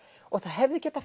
og það hefði getað